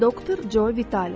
Doktor Co Vitali.